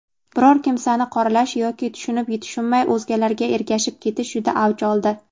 biror kimsani qoralash yoki tushunib-tushunmay o‘zgalarga ergashib ketish juda avj oldi.